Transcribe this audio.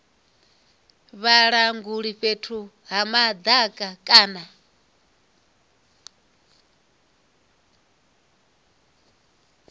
vhalanguli fhethu ha madaka a